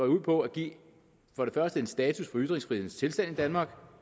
ud på at give en status for ytringsfrihedens tilstand i danmark og